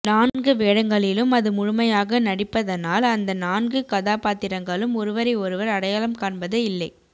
நான்கு வேடங்களிலும் அது முழுமையாக நடிப்பதனால் அநத நான்கு கதாபாத்திரங்களும் ஒருவரை ஒருவர் அடையாளம் காண்பதே இல்லை